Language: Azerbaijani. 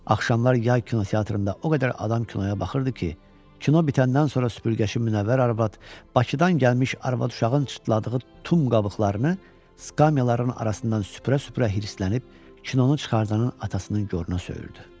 Axşamlar yay kinoteatrında o qədər adam kinoya baxırdı ki, kino bitəndən sonra süpürgəçi Munəvvər arvad Bakıdan gəlmiş arvad-uşağın çıtladığı tum qabıqlarını skamyaların arasından süpürə-süpürə hirslənib kinonu çıxardanın atasının goruna söyürdü.